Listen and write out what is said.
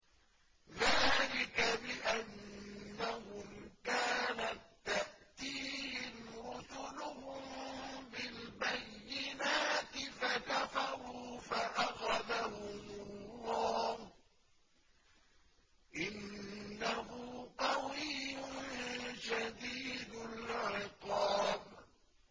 ذَٰلِكَ بِأَنَّهُمْ كَانَت تَّأْتِيهِمْ رُسُلُهُم بِالْبَيِّنَاتِ فَكَفَرُوا فَأَخَذَهُمُ اللَّهُ ۚ إِنَّهُ قَوِيٌّ شَدِيدُ الْعِقَابِ